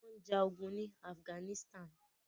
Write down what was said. Wọ́n ń ja ogun ní Afghanistan.